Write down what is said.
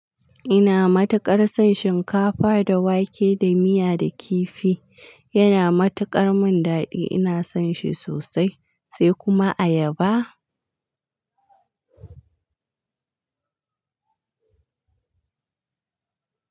Ina matuƙar son shinkafa da wake da miya da kifi. Yana mataƙar min daɗi. Ina son shi sosai sai kuma ayaba.